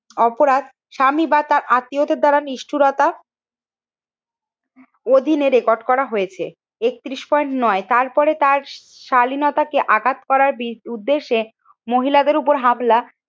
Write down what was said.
অপরাধ স্বামী বা তার আত্মীয়দের দ্বারা নিষ্ঠুরতা অধীনে রেকর্ড করা হয়েছে। একত্রিশ পয়েন্ট নয়, তার পরে তার শালীনতাকে আঘাত করার বি উদ্দেশ্যে মহিলাদের উপর হামলা